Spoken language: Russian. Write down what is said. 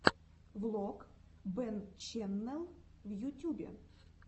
влог бэнччэннел в ютьюбе